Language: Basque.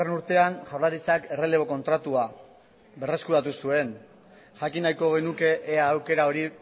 urtean jaurlaritzak errelebo kontratua berreskuratu zuen jakin nahiko genuke ea aukera hori